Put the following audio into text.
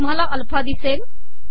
तुमहाला अलफा िदसेल